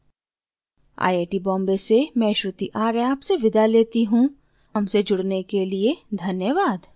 I I T Bombay से मैं श्रुति आर्य आपसे विदा लेती हूँ हमसे जुड़ने के लिए धन्यवाद